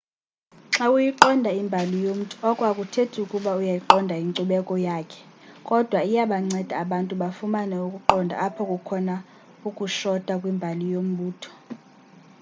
xa uyiqonda imbali yomntu oko akuthethi ukuba uyayiqonda inkcubeko yakhe kodwa iyabanceda abantu bafumane ukuqonda apho kukhona ukushota kwimbali yombutho